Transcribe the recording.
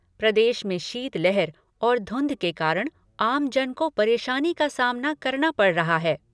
प्रदेश में शीत लहर और धुंध के कारण आम जन को परेशानी का सामना करना पड़ा रहा है।